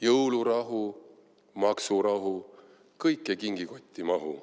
Jõulurahu, maksurahu – kõik ei kingikotti mahu.